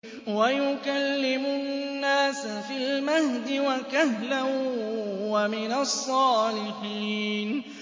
وَيُكَلِّمُ النَّاسَ فِي الْمَهْدِ وَكَهْلًا وَمِنَ الصَّالِحِينَ